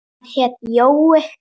Hann hét Jói.